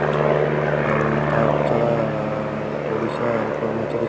ଆଉ ତା ଛଡା ଓଡିଶା କର୍ମଚାରୀ